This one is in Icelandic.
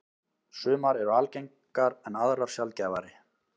Sumar eru algengar en aðrar sjaldgæfari.